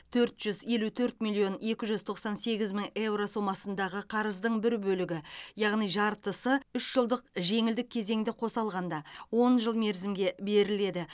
төрт жүз елу төрт миллион екі жүз тоқсан сегіз мың еуро сомасындағы қарыздың бір бөлігі яғни жартысы үш жылдық жеңілдік кезеңді қоса алғанда он жыл мерзімге беріледі